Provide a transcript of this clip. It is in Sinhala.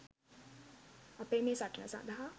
අපේ මේ සටන සඳහා